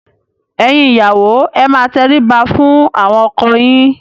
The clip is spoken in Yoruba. Ẹ̀yin ìyàwó ẹ máa tẹrí ba fún àwọn ọkọ yín!